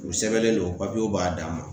U sɛbɛnlen don ,papiyew b'a dan ma .